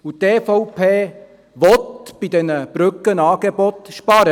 Und die EVP will bei diesen Brückenangeboten sparen.